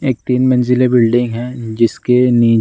एक तीन मंजिलें बिल्डिंग है जिसके नी --